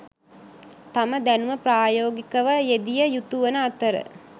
තම දැනුම ප්‍රායෝගිකව යෙදිය යුතුවන අතර